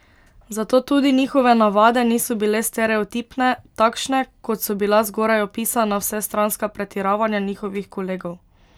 Zato tudi njihove navade niso bile stereotipne, takšne, kot so bila zgoraj opisana vsestranska pretiravanja njihovih kolegov.